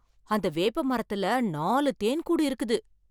அந்த வேப்ப மரத்துல நாலு தேன் கூடு இருக்குது!